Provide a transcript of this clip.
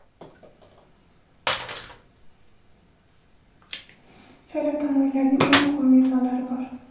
Saylov tamoyillarining eng muhim mezonlari bor.